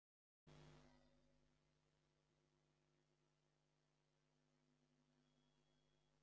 Kannski væri hann ennþá þarna ef hann hefði ekki skilað svona góðu starfi, hver veit?